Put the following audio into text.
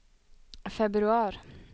februar